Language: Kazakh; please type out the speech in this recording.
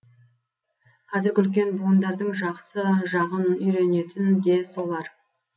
қазіргі үлкен буындардың жақсы жағын үйренетін де солар